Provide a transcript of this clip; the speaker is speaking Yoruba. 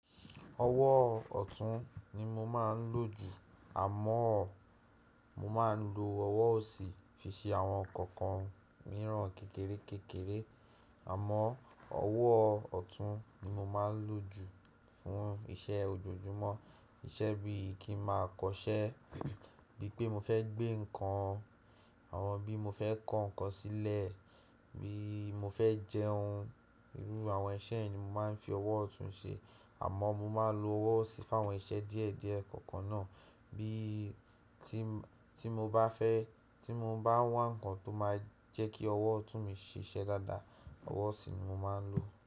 Ọwọ́ ọ̀tún ni mo máà ń lò jù, àmọ́ mo ma ń lo ọwọ́ osì fi ṣe àwọn ǹkan kan mìíràn kékeré kékeré. Àmọ́ ọwọ́ ọ̀tún ni mo máa ń lò jù fún ìṣe ojoojúmọ́. Íṣe bí i kí ma kọṣẹ́, bí i pé mo fẹ́ gbé ǹkan, àwọn bí mo fẹ́ kó ǹkan sílẹ̀, bí mo fẹ́ jẹun, irú àwọn iṣẹ̀ yen mo máa ń fi ọwọ́ ọ̀tún ṣe. Àmọ́ mo máa ń lo ọwọ́ osì fún àwọn iṣẹ́ díẹ̀díẹ̀ kọ̀ọ̀kan náà bí i tí mo bá fẹ́ tí mo bá wà ǹkan tó máa jẹ́ kí ọwọ́ ọ̀tún mi ṣe iṣẹ́ dáadáa, ọwọ́ osì ni mo máa ń lò.